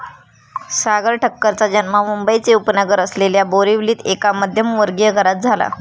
सागर ठक्करचा जन्म मुंबईचे उपनगर असलेल्या बोरिवलीत एका मध्यमवर्गीय घरात झाला.